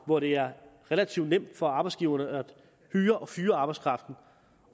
hvor det er relativt nemt for arbejdsgiverne at hyre og fyre arbejdskraften